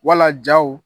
Wala jaw